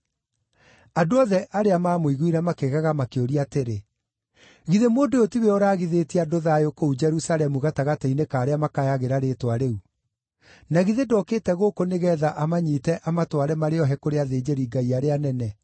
Andũ othe arĩa maamũiguire makĩgega makĩũria atĩrĩ, “Githĩ mũndũ ũyũ tiwe ũraagithĩtie andũ thayũ kũu Jerusalemu gatagatĩ-inĩ ka arĩa makayagĩra rĩĩtwa rĩu? Na githĩ ndokĩte gũkũ nĩgeetha amanyiite amatware marĩ ohe kũrĩ athĩnjĩri-Ngai arĩa anene?”